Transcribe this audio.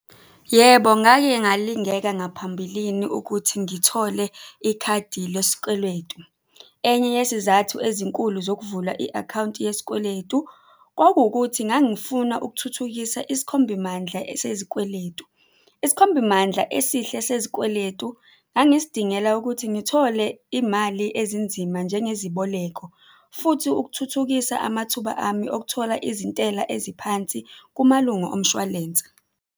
Yebo, ngake ngalingeka ngaphambilini ukuthi ngithole ikhadi lesikweletu. Enye yesizathu ezinkulu zokuvula i-akhawunti yesikweletu, kwakuwukuthi ngangifuna ukuthuthukisa isikhombimandla sezikweletu. Isikhombimandla esihle sezikweletu ngangisidingela ukuthi ngithole iy'mali ezinzima njengeziboleko, futhi ukuthuthukisa amathuba ami okuthola izintela eziphansi kumalungo omshwalense.